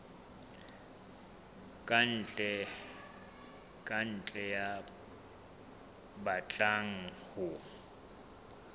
ka ntle ya batlang ho